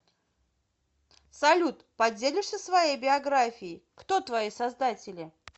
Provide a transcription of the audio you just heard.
салют поделишься своей биографией кто твои создатели